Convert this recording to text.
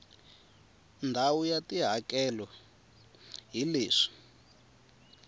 ndhawu ya tihakelo hi leswi